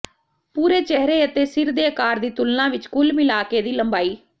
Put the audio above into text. ਪੂਰੇ ਚਿਹਰੇ ਅਤੇ ਸਿਰ ਦੇ ਆਕਾਰ ਦੀ ਤੁਲਨਾ ਵਿੱਚ ਕੁੱਲ ਮਿਲਾਕੇ ਦੀ ਲੰਬਾਈ